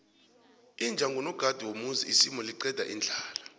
iwja ngunogada womuzi isimu liqeda indlala